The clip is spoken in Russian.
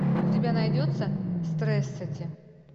у тебя найдется стрессати